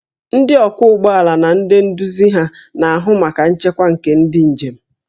Ndị ọkwọ ụgbọ ala na ndị nduzi ha na-ahụ maka nchekwa nke ndị njem